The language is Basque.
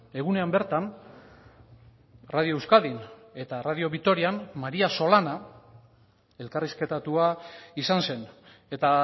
egunean bertan radio euskadin eta radio vitorian maría solana elkarrizketatua izan zen eta